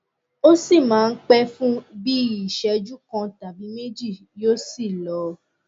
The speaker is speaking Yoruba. ó sì máa ń pẹ fún bí i ìṣẹjú kan tàbí méjì yóò sì lọ